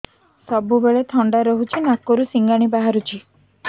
ସବୁବେଳେ ଥଣ୍ଡା ରହୁଛି ନାକରୁ ସିଙ୍ଗାଣି ବାହାରୁଚି